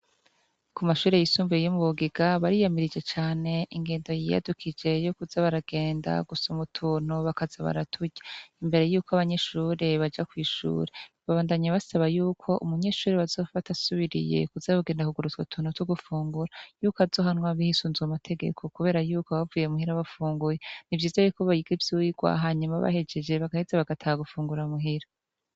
Ku mashure yisumbuye yo mubugiga, bariyamije cane ingendo yiyadukije yukuza batagenda gusuka utuntu bakaza baraturya imbere yuko abanyeshure baja kw'ishure. Babandanya basaba yuko umunyeshure bazofata asubiriye kuza aragenda kugura utwo tuntu yuko azohanwa bisunze amategeko kubera yuko baba bavuye muhira bafunguye, nivyiza yuko biga ivyigwa hanyuma bahejeje bagaheza bagataha muhira gufungura.